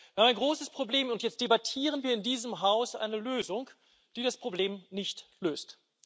Wir haben ein großes Problem, und jetzt debattieren wir in diesem Haus eine Lösung, die das Problem nicht löst.